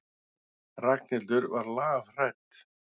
Ragnhildur var lafhrædd.